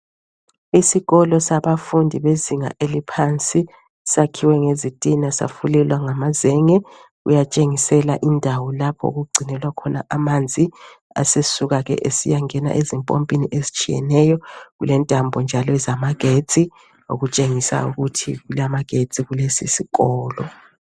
Isikolo sabafundi bezinga eliphansi sakhiwe ngezitina safulelwa ngamazenge. Kuyatshengisela indawo lapho okugcinelwa khona amanzi, asesuka ke sesiyangena ezimpompini ezitshiyeneyo. Kulentambo njalo ezamagetsi okutshengisa ukuthi kulamagetsi kulesi sikolo.